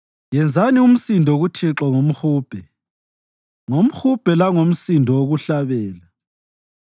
yenzani umsindo kuThixo ngomhubhe, ngomhubhe langomsindo wokuhlabela,